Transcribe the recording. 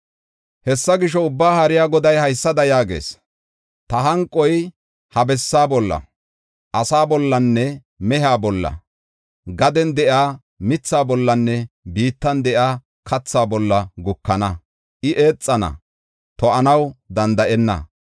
Hessa gisho, Ubbaa Haariya Goday haysada yaagees: “Ta hanqoy ha bessaa bolla, asaa bollanne mehiya bolla, gaden de7iya mithaa bollanne biittan de7iya kathaa bolla gukana; I eexana, to7anaw danda7enna.”